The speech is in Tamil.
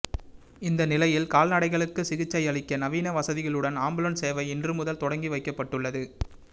இந்த நிலையில் கால்நடைகளுக்கு சிகிச்சை அளிக்க நவீன வசதிகளுடன் ஆம்புலன்ஸ் சேவை இன்று முதல் தொடங்கி வைக்கப்பட்டுள்ளது